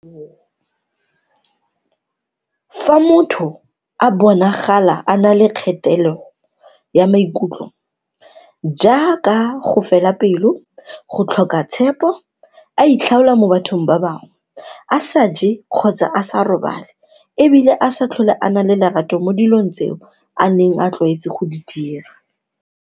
Fa motho a bonagala a na le kgatelelo ya maikutlo, jaaka go fela pelo, go tlhoka tshepo, a itlhaola mo bathong ba bangwe, a sa je kgotsa a sa robale e bile a sa tlhole a na le lerato mo dilong tseo a neng a tlwaetse go di dira.